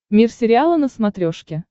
мир сериала на смотрешке